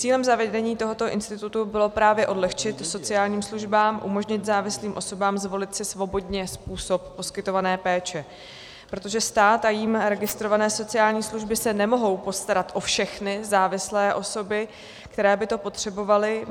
Cílem zavedení tohoto institutu bylo právě odlehčit sociálním službám, umožnit závislým osobám zvolit si svobodně způsob poskytované péče, protože stát a jím registrované sociální služby se nemohou postarat o všechny závislé osoby, které by to potřebovaly.